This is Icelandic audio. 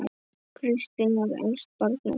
Kristín var elst barna þeirra.